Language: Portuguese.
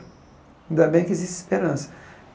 Ainda bem que existe esperança.